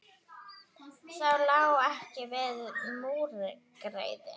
Það lá ekki við múgræði